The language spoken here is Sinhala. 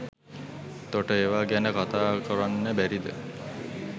තොට ඒවා ගැන කතා කොරන්න බැරිද